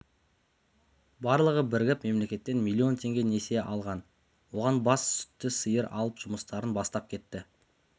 барлығы бірігіп мемлекеттен миллион теңге несие алған оған бас сүтті сиыр алып жұмыстарын бастап кетті